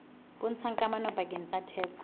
bontshang kamano pakeng tsa theko